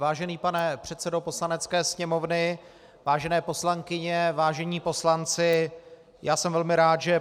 Vážený pane předsedo Poslanecké sněmovny, vážené poslankyně, vážení poslanci, já jsem velmi rád, že